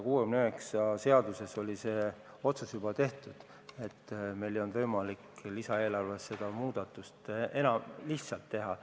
Eelnõus 169 oli see otsus juba tehtud, meil ei olnud võimalik lisaeelarves seda muudatust enam teha.